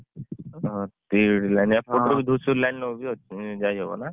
ଓହୋ ତିହିଡି line ରେ ଏଇପାଟରେ ବି ଧୂସରି line ରେ ବି ଯାଇହବନା।